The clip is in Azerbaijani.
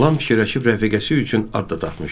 Lam fikirləşib rəfiqəsi üçün ad da tapmışdı.